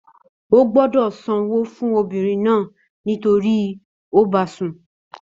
Ó gbọ́dọ̀ sanwó fún obìnrin náà nítorí ó bá a sùn.